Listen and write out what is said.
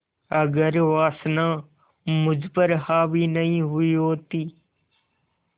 अगर वासना मुझ पर हावी नहीं हुई होती